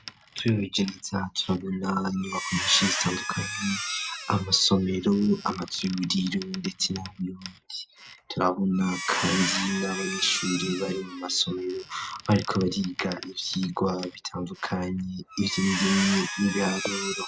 Twihweje neza turabona inyubako nyishi zitandukane amasomero amazu y'uburiro ndetse n'abuyongi turabona kandi n'abanyeshuri bari mu masomero bariko bariga ivyirwa bitandukanye ivyindimi n'ibiharuro